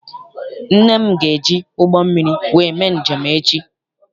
Nne m ga eji ụgbọ mmiri wee mee njem echi.